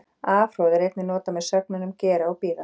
Afhroð er einnig notað með sögnunum gera og bíða.